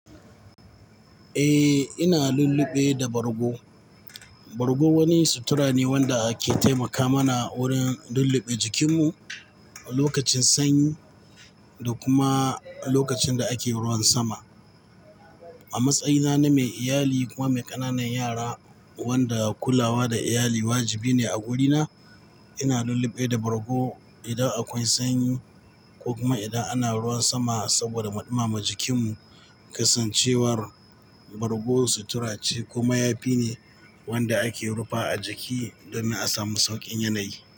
Eh, ina lulluɓe da bargo. Bargo wani sutura ne wanda ke taimaka mana wurin lulluɓe jikinmu lokacin sanyi da kuma lokacin da ake ruwan sama. A matsayina na mai iyali kuma mai ƙananan yara wanda kulawa da iyali wajibi ne a gurina, ina lulluɓe da bargo idan akwai sanyi ko kuma idan ana ruwan sama saboda mu ɗimama jikinmu. Kasancewar bargo sutura ce ko mayafi ne wanda ake rufa a jiki domin a samu sauƙin yanayi.